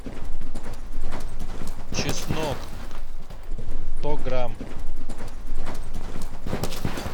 чеснок сто грамм